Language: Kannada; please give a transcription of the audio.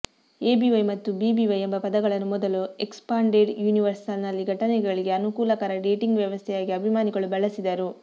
ಎಬಿವೈ ಮತ್ತು ಬಿಬಿವೈ ಎಂಬ ಪದಗಳನ್ನು ಮೊದಲು ಎಕ್ಸ್ಪಾಂಡೆಡ್ ಯೂನಿವರ್ಸ್ನಲ್ಲಿನ ಘಟನೆಗಳಿಗೆ ಅನುಕೂಲಕರ ಡೇಟಿಂಗ್ ವ್ಯವಸ್ಥೆಯಾಗಿ ಅಭಿಮಾನಿಗಳು ಬಳಸಿದರು